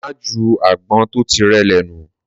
Mà jú àgbón tó tí rẹlẹ nú!